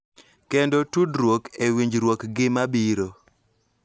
Kendo tudruok e winjruokgi mabiro.